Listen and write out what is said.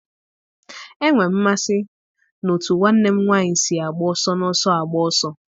Enwere m mmasị n'otú nwanne m nwanyị si agba ọsọ n'ọsọ agba ọsọ.